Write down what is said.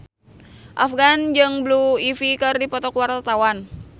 Afgan jeung Blue Ivy keur dipoto ku wartawan